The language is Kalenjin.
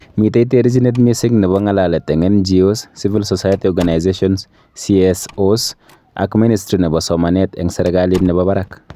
Mitei terjinet missing nebo ng'alalet eng NGOs, civil society organisations (CSOs) ak Ministry nebo somanet eng serikalit nebo barak